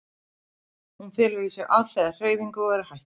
Hún felur í sér alhliða hreyfingu og er hættulaus.